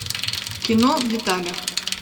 кино в деталях